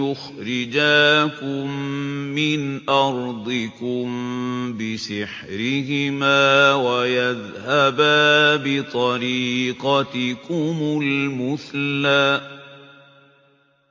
يُخْرِجَاكُم مِّنْ أَرْضِكُم بِسِحْرِهِمَا وَيَذْهَبَا بِطَرِيقَتِكُمُ الْمُثْلَىٰ